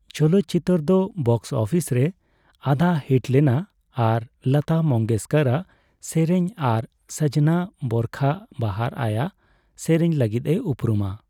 ᱪᱚᱞᱚᱛ ᱪᱤᱛᱟᱹᱨ ᱫᱚ ᱵᱚᱠᱥ ᱟᱯᱷᱤᱥ ᱨᱮ ᱟᱫᱷᱟᱼᱦᱤᱴ ᱞᱮᱱᱟ ᱟᱨ ᱞᱚᱛᱟ ᱢᱚᱝᱜᱮᱥᱠᱚᱨᱟᱜ ᱥᱮᱨᱮᱧ ᱟᱨ ᱥᱟᱡᱱᱟ ᱵᱚᱨᱠᱷᱟ ᱵᱟᱦᱟᱨ ᱟᱭ ᱥᱮᱨᱮᱧ ᱞᱟᱹᱜᱤᱫᱼᱮ ᱩᱯᱨᱩᱢᱟ ᱾